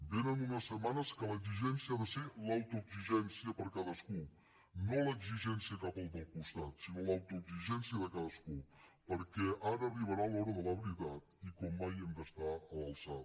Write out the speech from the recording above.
vénen unes setmanes en què l’exigència ha de ser l’autoexigència per a cadascú no l’exigència cap al del costat sinó l’autoexigència de cadascú perquè ara arribarà l’hora de la veritat i com mai hi hem d’estar a l’alçada